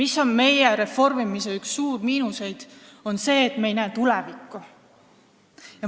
See ongi meie reformimise üks suur miinuseid, et me ei näe tulevikku.